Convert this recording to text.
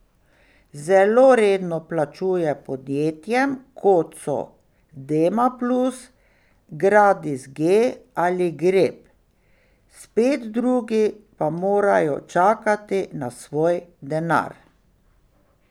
Zelo redno plačuje podjetjem, kot so Dema plus, Gradis G ali Grep, spet drugi pa morajo čakati na svoj denar.